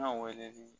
weleli